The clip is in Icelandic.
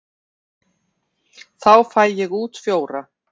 Þá fæ ég út fjóra.